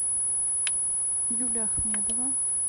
юлия ахмедова